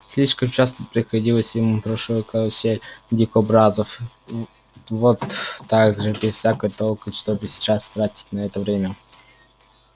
слишком часто приходилось ему в прошлом караулить дикобразов вот так же без всякого толка чтобы сейчас тратить на это время